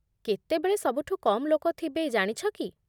କେତେବେଳେ ସବୁଠୁ କମ୍ ଲୋକ ଥିବେ ଜାଣିଛ କି ?